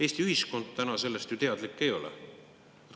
Eesti ühiskond täna sellest ju teadlik ei ole.